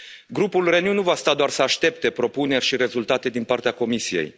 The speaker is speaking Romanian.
Grupul Renew nu va sta doar să aștepte propuneri și rezultate din partea Comisiei.